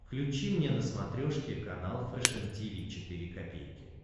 включи мне на смотрешке канал фэшн ти ви четыре ка